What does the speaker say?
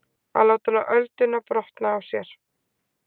Að láta ölduna brotna á sér